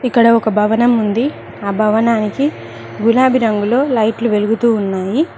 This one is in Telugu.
ఇక్కడ ఒక భవనం ఉంది ఆ భవనానికి గులాబీ రంగులో లైట్లు వెలుగుతూ ఉన్నాయి.